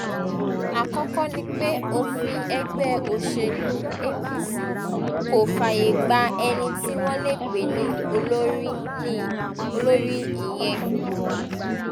àkọ́kọ́ ni pé òfin ẹgbẹ́ òṣèlú apc kò fààyè gba ẹni tí wọ́n lè pè ní olórí ìyẹn